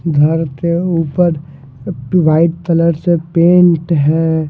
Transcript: घर के ऊपर व्हाइट कलर से पेंट हैं।